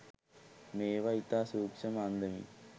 මේවා ඉතා සූක්‍ෂ්ම අන්දමින්